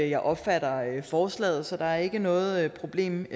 jeg opfatter forslaget så der er ikke noget problem i